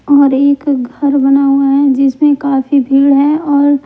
और एक घर बना हुआ है जिसमें काफी भीड़ है और--